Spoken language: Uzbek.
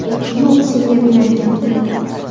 Yo‘q, senga beradigan pulim’.